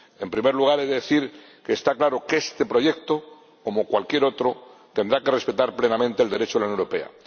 En primer lugar, he de decir que está claro que este proyecto, como cualquier otro, tendrá que respetar plenamente el Derecho de la Unión Europea.